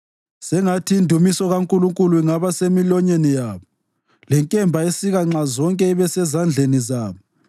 Sengathi indumiso kaNkulunkulu ingaba semilonyeni yabo lenkemba esika nxazonke ibe sezandleni zabo,